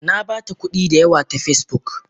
Nabata kudi da yawa ta Facebook.